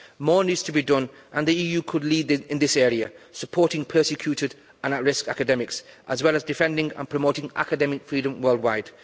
More needs to be done and the EU could lead in this area, supporting persecuted and at risk academics as well as defending and promoting academic freedom worldwide.